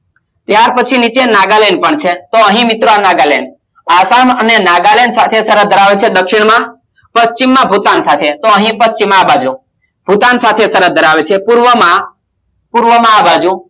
ત્યાર પછી નીચે નાગાલૈંડ પણ છે તો અહી મિત્રો નાગાલૈંડ આસામ અને નાગાલૈંડ સાથે સરહદ ધરાવે છે દક્ષિણ માં પશ્ચિમ માં ભૂટાન સાથે તો અહી પશ્ચિમ આ બાજુ ભૂટાન સાથે સરહદ ધરાવે છે પૂર્વમાં પૂર્વમાં આ બાજુ